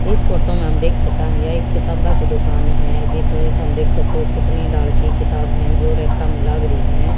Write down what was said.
इस फोटो मे हम देख सका है यह एक किताब्बा की दुकान है। जिथ जिथ हम देख सको की कितने की किताब है जो मे लाग री है।